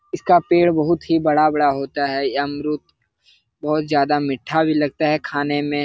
इसका पेड़ बहुत ही बड़ा-बड़ा होता है बहुत ज्यादा मीठा भी लगता है खाने में।